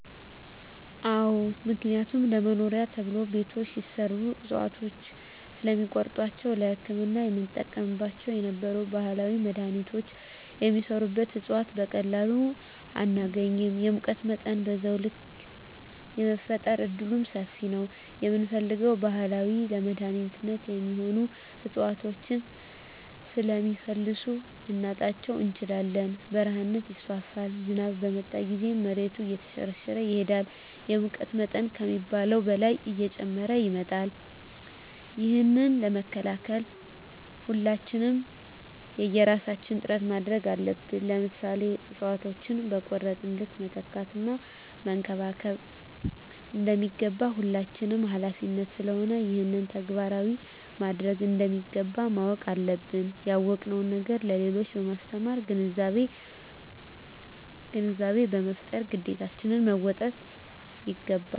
አዎ ምክንያቱም ለመኖሪያ ተብሎ ቤቶች ሲሰሩ እፅዋቶችን ስለሚቆርጧቸዉ ለህክምና የምንጠቀምባቸው የነበሩ ባህላዊ መድሀኒቶች የሚሰሩበት እፅዋት በቀላሉ አናገኝም የሙቀት መጠንም በዛዉ ልክ የመፈጠር እድሉምሰፊ ነዉ የምንፈልገዉን ባህላዊ ለመድኃኒትነት የሚሆኑ እፅዋቶችን ስለሚፈልሱ ልናጣቸዉ እንችላለን በረሀነት ይስፋፋል ዝናብ በመጣ ጊዜም መሬቱ እየተሸረሸረ ይሄዳል የሙቀት መጠን ከሚባለዉ በላይ እየጨመረ ይመጣል ይህንን ለመከላከል ሁላችንም የየራሳችን ጥረት ማድረግ አለብን ለምሳሌ እፅዋቶችን በቆረጥን ልክ መትከል እና መንከባከብ እንደሚገባ የሁላችንም ሀላፊነት ስለሆነ ይህንን ተግባራዊ ማድረግ እንደሚገባ ማወቅ አለብን ያወቅነዉን ነገር ለሌሎች በማስተማር ግንዛቤ በመፍጠር ግዴታችን መወጣት ይገባል